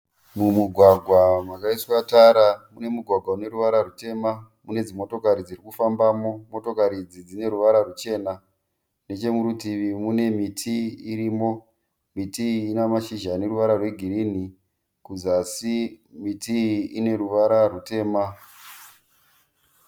Mumugwagwa makaiswa tara. Pane mugwagwa une ruvara rutema une dzimotokari dziri kufambamo. Motokari idzi dzine ruvara ruchena. Nechemurutivi mune miti irimo. Miti iyi ine mashizha aneruvara rwegirinhi kuzasi miti iyi ine ruvara rutema.